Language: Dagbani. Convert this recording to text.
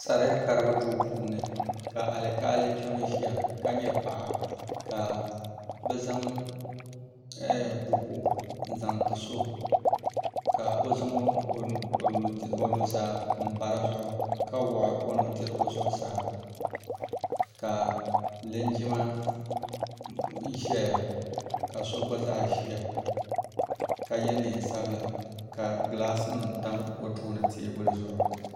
Sariya karibu duu puuni ka alikaali kpɛma ʒiya ka nyɛ paɣa ka bɛ zaŋ buku n-zaŋ ti so ka o zaŋ o nuzaa m-pa di zuɣu ka wuɣi o nudirigu zuɣusaa ka linjima ʒeya ka so gba zaa ʒiya ka ye neen'sabila ka gilasinima tam o tooni teebuli zuɣu.